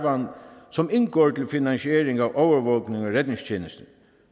som indgår i finansieringen af overvågning og redningstjeneste